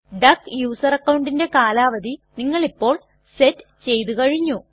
duck user അക്കൌണ്ടിന്റെ കാലാവധി നിങ്ങളിപ്പോൾ സെറ്റ് ചെയ്തു കഴിഞ്ഞു